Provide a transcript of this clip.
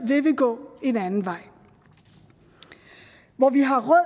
vil vi gå en anden vej hvor vi har råd